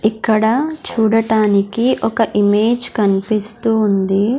ఇక్కడ చూడటానికి ఒక ఇమేజ్ కన్పిస్తూ ఉంది.